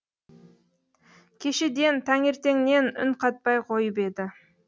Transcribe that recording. кешеден таңертеңнен үн қатпай қойып еді